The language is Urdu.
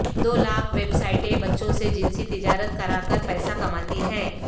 دو لاکھ ویب سائٹیں بچوں سے جنسی تجارت کراکر پیسہ کماتی ہیں